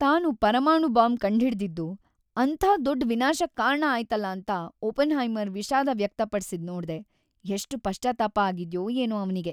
ತಾನು ಪರಮಾಣು ಬಾಂಬ್‌ ಕಂಡ್ಹಿಡ್ದಿದ್ದು ಅಂಥ ದೊಡ್ ವಿನಾಶಕ್ಕ್ ಕಾರಣ ಆಯ್ತಲ್ಲ ಅಂತ ಓಪನ್ಹೈಮರ್‌ ವಿಷಾದ ವ್ಯಕ್ತಪಡ್ಸಿದ್‌ ನೋಡ್ದೆ, ಎಷ್ಟ್‌ ಪಶ್ಚಾತ್ತಾಪ ಆಗಿದ್ಯೋ ಏನೋ ಅವ್ನಿಗೆ.